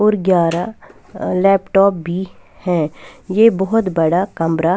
और ग्यारह लैपटॉप भी है ये बहुत बड़ा कमरा --